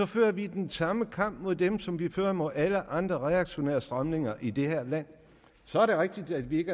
fører vi den samme kamp mod dem som vi fører mod alle andre reaktionære strømninger i det her land så er det rigtigt at vi ikke